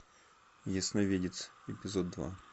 ясновидец эпизод два